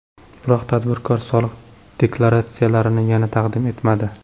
Biroq tadbirkor soliq deklaratsiyalarini yana taqdim etmadi.